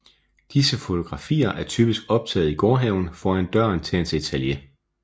Disse fotografier er typisk optaget i gårdhaven foran døren til hans atelier